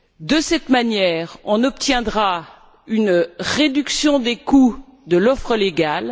De cette manière, on obtiendra une réduction des coûts de l'offre légale.